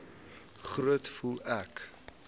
groet voel ek